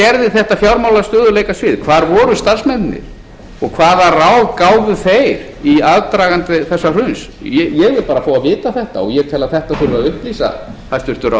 þetta fjármálastöðugleikasvið hvar voru starfsmennirnir hvaða ráð gáfu þeir í aðdraganda þegar hruns ég vil bara fá að vita þetta og ég tel að þetta þurfi að upplýsa hæstvirtur ráðherra